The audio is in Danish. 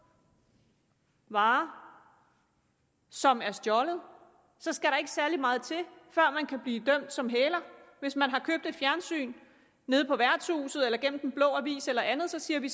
varer som er stjålet skal der ikke særlig meget til før man kan blive dømt som hæler hvis man har købt et fjernsyn nede på værtshuset gennem den blå avis eller andet siger vi